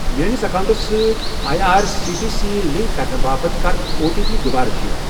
میٲنِس اکاونٹَس سۭتۍ I R C T C link کرنہٕ باپتھ کَر او ٹی پی دُوبارٕ سیٚنڑ۔